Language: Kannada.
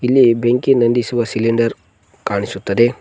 ಇಲ್ಲಿ ಬೆಂಕಿ ನಂದಿಸುವ ಸಿಲಿಂಡರ್ ಕಾಣಿಸುತ್ತದೆ.